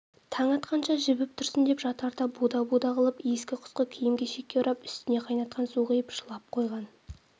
таң атқанша жібіп тұрсын деп жатарда буда-буда қылып ескі-құсқы киім-кешекке орап үстіне қайнатқан су құйып шылап қойған